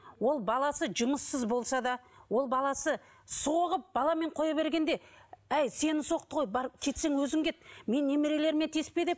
ол баласы жұмыссыз болса да ол баласы соғып баламен қоя бергенде әй сені соқты ғой бар кетсең өзің кет менің немерелеріме тиіспе деп